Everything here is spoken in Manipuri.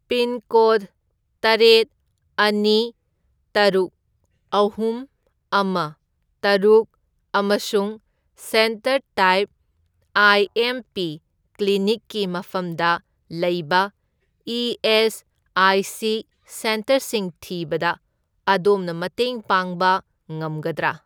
ꯄꯤꯟꯀꯣꯗ ꯇꯔꯦꯠ, ꯑꯅꯤ, ꯇꯔꯨꯛ, ꯑꯍꯨꯝ, ꯑꯃ, ꯇꯔꯨꯛ ꯑꯃꯁꯨꯡ centre type I M P ꯀ꯭ꯂꯤꯅꯤꯛꯀꯤ ꯃꯐꯝꯗ ꯂꯩꯕ ꯏ.ꯑꯦꯁ.ꯑꯥꯏ.ꯁꯤ. ꯁꯦꯟꯇꯔꯁꯤꯡ ꯊꯤꯕꯗ ꯑꯗꯣꯝꯅ ꯃꯇꯦꯡ ꯄꯥꯡꯕ ꯉꯝꯒꯗ꯭ꯔꯥ?